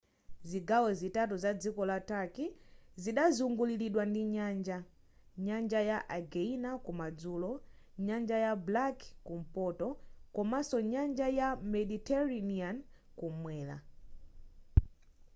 zigawo zitatu za dziko la turkey zidazunguliridwa ndi nyanja nyanja ya aegean kumadzulo nyanja ya black kumpoto komanso nyanja ya mediterranean kumwera